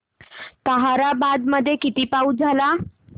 ताहराबाद मध्ये किती पाऊस झाला